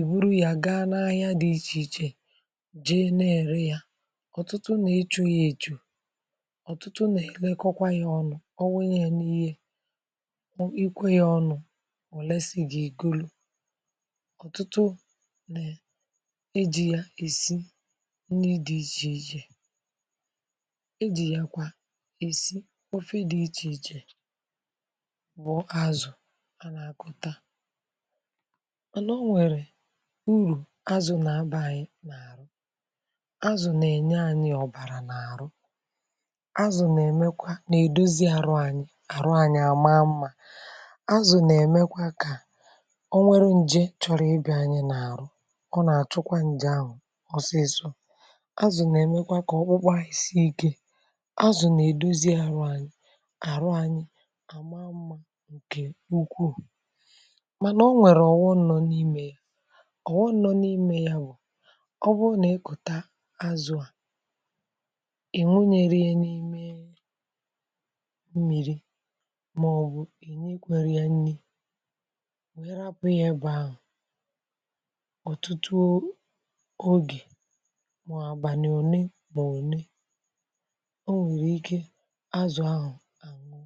iburu ya gaa n’ahịa dị iche iche jee nà-ère ya. Ọ̀tụtụ nà ịchụ̇ ya, èchù, ọ̀tụtụ nà-elekọwa ya ọnụ̇. Ò lesị̀? Gà-egolù. Ọ̀tụtụ nà ejì ya èsi nni dị̇ iche iche, ejì ya kwa èsi wọ̀fị̇ dị̇ iche iche. Bụ̀ azụ̀ a nà-akọ̇ta hà. um Nà o nwèrè urù: azụ̀ nà-abà anyị̇ n’àrụ̀, azụ̀ nà-enye anyị̇ ọ̀bàrà n’àrụ̀, azụ̀ nà-emekwa nà-èdozi àrụ̀ anyị̇, azụ̀ nà-eme kà o nwee nje, chọrọ ịbịa anyị n’àrụ̀ ọ nà-àchụkwa nje ahụ̀ ọsịsọ. azụ̀ nà-eme kà ọkpụkpụ anyị sie ike, um azụ̀ nà-èdozi àrụ̀ anyị àrụ̀ anyị àma mmȧ, ǹkè ukwuù. Mànà, um, o nwèrè ọ̀wọ nọ n’ime. Ọ̀wọ nọ n’ime ya bụ̀: ọ bụrụ nà ẹkụ̀tà azụ̀, à ị̀ nwụnyẹ̇rẹ ya n’ime, nwẹ̀rẹ̀ apụ̀ ihe bụ̀ ahụ̀. Ọ̀tụtụ ogè um màọ̀bàlị̀, òne bụ̀ òne… ọ nwẹ̀rẹ̀ ike, azụ̀ ahụ̀ àṅụ.